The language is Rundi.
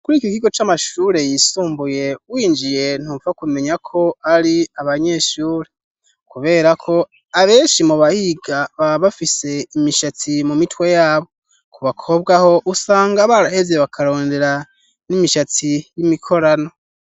Kuri iki ikigo c'amashure yisumbuye winjiye ntupfa kumenya ko ari abanyeshure kubera ko abenshi mu bahiga baba bafise imishatsi mu mitwe yabo. Ku bakobwa ho usanga barahevye bakarondera n'imishatsi y'imikorano.